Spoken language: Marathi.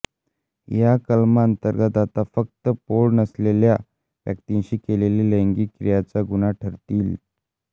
ह्या कलमा अंतर्गत आता फक्त पौढ नसलेल्या व्यक्तिंशी केलेल्या लैंगिक क्रियाच गुऩ्हा ठरतील